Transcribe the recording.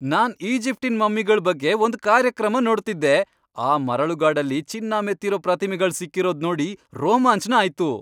ನಾನ್ ಈಜಿಪ್ಟಿನ್ ಮಮ್ಮಿಗಳ್ ಬಗ್ಗೆ ಒಂದ್ ಕಾರ್ಯಕ್ರಮ ನೋಡ್ತಿದ್ದೆ, ಆ ಮರಳುಗಾಡಲ್ಲಿ ಚಿನ್ನ ಮೆತ್ತಿರೋ ಪ್ರತಿಮೆಗಳ್ ಸಿಕ್ಕಿರೋದ್ ನೋಡಿ ರೋಮಾಂಚ್ನ ಆಯ್ತು.